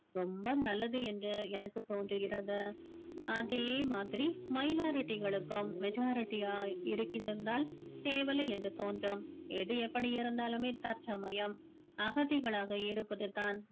ரொம்ப நல்லது என்று எனக்கு தோன்றுகிறது அதே மாதிரி minority களுக்கும் majority யாய் இருந்தால் தேவலை என்று தோன்றும் எது எப்படி இருந்தாலுமே தற்சமயம் அகதிகளாக இருப்பது தான்